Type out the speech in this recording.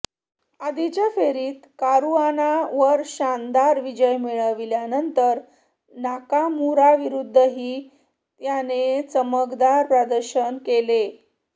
आधीच्या फेरीत कारुआनावर शानदार विजय मिळविल्यानंतर नाकामुराविरुद्धही त्याने चमकदार प्रदर्शन केले